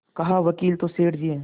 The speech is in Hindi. कहावकील तो सेठ जी हैं